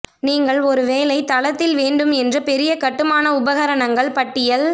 நீங்கள் ஒரு வேலை தளத்தில் வேண்டும் என்று பெரிய கட்டுமான உபகரணங்கள் பட்டியல்